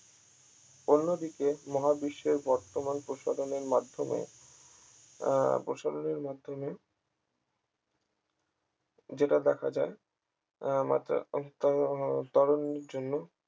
অন্যদিকে মহাবিশ্বের বর্তমান প্রসাধনের মাধ্যমে আহ প্রসাধনের মাধ্যমে যেটা দেখা যায় মাত্রারিক্ত ত্বরণের জন্য